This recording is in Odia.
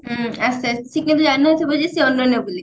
ହୁଁ ଆସିଛି ଆସିଛି ସେ କେବେ ଜାଣିନଥିବ ଯେ ସେ ଅନନ୍ୟା ବୋଲି